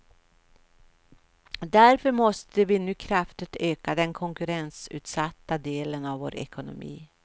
Därför måste vi nu kraftigt öka den konkurrensutsatta delen av vår ekonomi.